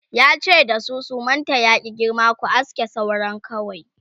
yace da su sumanta ya ki girma"ku aske sauran kawai!"